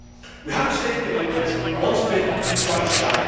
We have a saying in England once bitten, twice shy'.